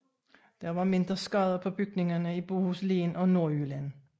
Der var mindre skader på bygninger i Bohuslen og Nordjylland